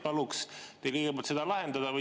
Paluks teil kõigepealt see lahendada.